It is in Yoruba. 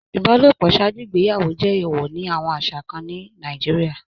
Ibalopo ṣaaju igbeyawo jẹ eewọ ni awọn aṣa kan ni Nàìjíríà